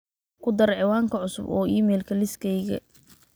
ku dar ciwaanka cusub oo iimaylka liiskayga